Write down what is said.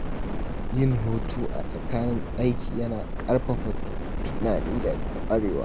Yin hutu a tsakanin aiki yana ƙarfafa tunani da ƙwarewa.